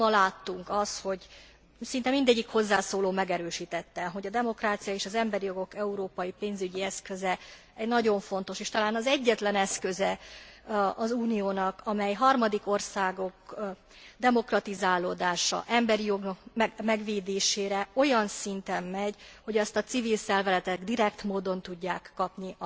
Amit ma láttunk, az szinte mindegyik hozzászóló megerősítette hogy a demokrácia és az emberi jogok európai pénzügyi eszköze nagyon fontos, és talán az egyetlen eszköze az Uniónak, amely harmadik országok demokratizálódására, emberi jogok megvédésére olyan szinten megy, hogy azt a civil szervezetek direkt módon tudják kapni.